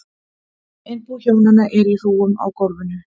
Innbú hjónanna er í hrúgum á gólfum.